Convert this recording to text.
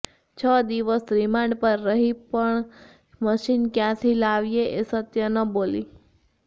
છ દિવસ રિમાન્ડ પર રહી પણ મશીન ક્યાંથી લાવીએ એ સત્ય ન બોલી